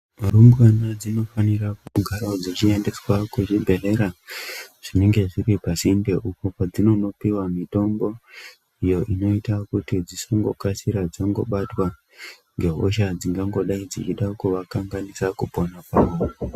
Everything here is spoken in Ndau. Varumbwana dzinofanira kugarawo dzichiendeswa kuzvibhedhlera, zvinenge zviri pasinde, uko padzinondopiwa mitombo iyo inoita kuti dzisangokasira dzangobatwa ngehosha dzinenge dzichida kuvakanganisa kupona kwavo.